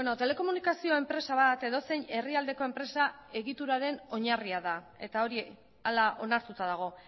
telekomunikazio enpresa bat edozein herrialdeko enpresa egituraren oinarria da eta hori hala onartuta dago